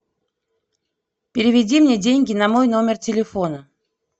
переведи мне деньги на мой номер телефона